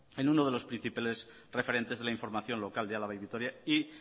en uno de los principales referentes de la información local de álava y vitoria y